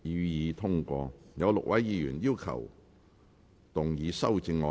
有6位議員要動議修正案。